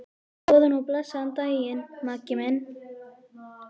Góðan og blessaðan daginn, Maggi minn.